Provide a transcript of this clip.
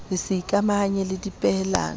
ho se ikamahanye le dipehelano